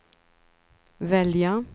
välja